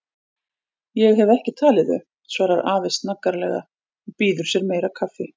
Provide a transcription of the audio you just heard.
Ég hef ekki talið þau, svarar afi snaggaralega og býður sér meira kaffi.